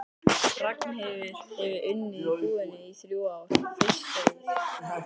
Ragnheiður hefur unnið í búðinni í þrjú ár, fyrst sögð